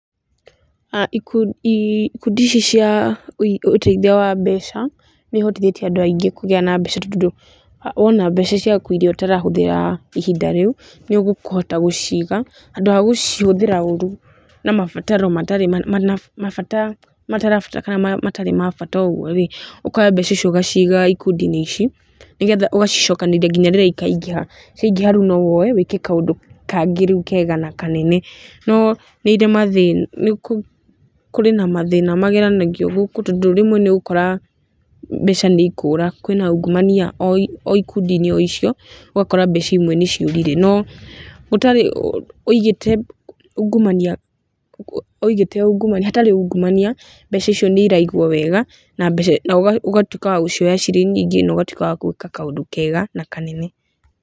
Ikundi iiku, ikundi ici cia uig, ũtethia wa mbeca, nĩihotithĩtie andũ aingĩ kũgĩa na mbeca tondũ, wona mbeca ciaku iria ũtarahũthĩra, ihinda rĩu, nĩũkũhota gũciga, handũ ha gũcihũthĩra ũrũ, na mabataro matarĩ, na ,maba, mabata matarĩ ma bata ũguo rĩ, ũkoya mbeca icio ũgaciga ikundi inĩ ici, nigetha ũgacicokanĩrĩria nginya rĩrĩa ikaingĩha, ciaingĩha rĩu nowoe na wĩke kaũndũ kangĩ rĩu kega na kanene, no nĩirĩ mathĩna, nikũ, kũrĩ na mathĩna, mageranagio gũkũ tondũ rimwe nĩũgũkora, mbeca nĩikũra, kwĩna ungumania oi, oi kundinĩ oicio ũgakora mbeca imwe nĩciũrire, no ũtarĩ ũndũ, wigĩte ungumania, wigĩte ungumania, gũtarĩ ungumania, mbeca icio nĩiraigũo wega, na ũga, ũgatuĩka wagũcioya cirĩ nyingĩ na ũgatuĩka wa gũĩka kaũndũ kega, na kanene.